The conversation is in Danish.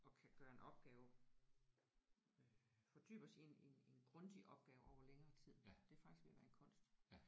Og kan gøre en opgave øh fordybe os i en i en i en grundig opgave over længere tid det er faktisk ved at være en kunst